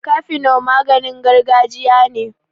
cafino maganin gajiya ne